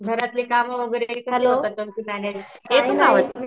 घरातले काम वगैरे